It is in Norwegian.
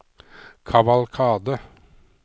kavalkade